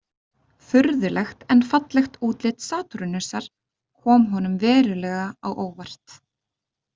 Furðulegt en fallegt útlit Satúrnusar kom honum verulega á óvart.